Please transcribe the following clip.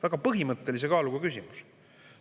Väga põhimõttelise kaaluga küsimus.